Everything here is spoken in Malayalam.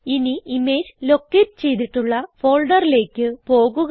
ഇനി ഇമേജ് ലൊക്കേറ്റ് ചെയ്തിട്ടുള്ള ഫോൾഡറിലേക്ക് പോകുക